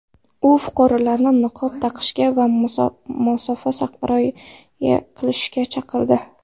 U fuqarolarni niqob taqishga va masofaga rioya qilishga chaqirdi.